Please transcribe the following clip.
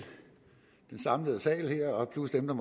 den samlede sal her plus dem der